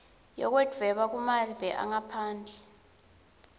yekudvweba kumave angaphandle